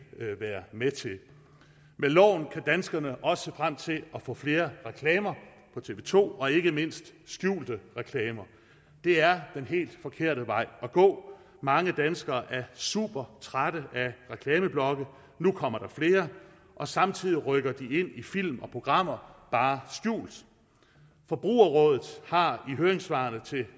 være med til med loven kan danskerne også se frem til at få flere reklamer på tv to og ikke mindst skjulte reklamer det er den helt forkerte vej at gå mange danskere er supertrætte af reklameblokke nu kommer der flere og samtidig rykker de ind i film og programmer bare skjult forbrugerrådet har i høringssvarene til